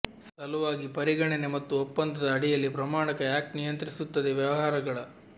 ಸಲುವಾಗಿ ಪರಿಗಣನೆ ಮತ್ತು ಒಪ್ಪಂದದ ಅಡಿಯಲ್ಲಿ ಪ್ರಮಾಣಕ ಆಕ್ಟ್ ನಿಯಂತ್ರಿಸುತ್ತದೆ ವ್ಯವಹಾರಗಳ